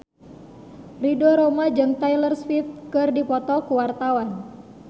Ridho Roma jeung Taylor Swift keur dipoto ku wartawan